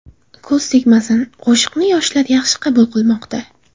Ko‘z tegmasin, qo‘shiqni yoshlar yaxshi qabul qilmoqda.